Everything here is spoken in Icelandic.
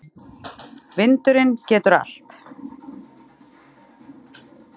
Vindurinn getur allt.